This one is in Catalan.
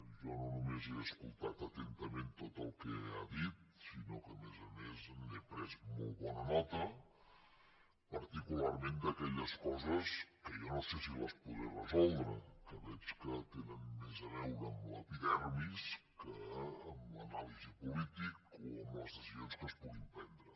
jo no només he escoltat atentament tot el que ha dit sinó que a més a més n’he pres molt bona nota particularment d’aquelles coses que jo no sé si les podré resoldre que veig que tenen més a veure amb l’epidermis que amb l’anàlisi política o amb les decisions que es puguin prendre